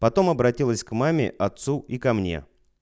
потом обратилась к маме отцу и ко мне